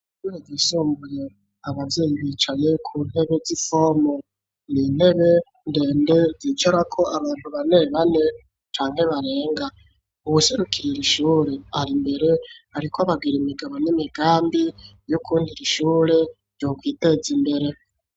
Ishure ryisumbuye abavyeyi bicaye ku ntebe z'isome ndende yicarako abantu banebane canke barenga uwuserukirira iri shure ari mbere ariko ababwira imigabo n'imigambi yukuntu iri shure ryokwiteza imbere.